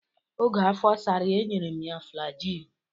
Oge afọ sara ya, e nyere m ya flajil.